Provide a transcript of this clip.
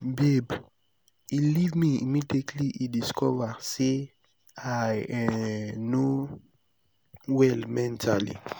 babe he leave me immediately he discover say i um no well mentally